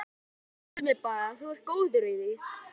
Já, lemdu mig bara, þú ert góður í því!